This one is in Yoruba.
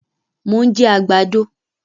Mo ń jẹ àgbàdo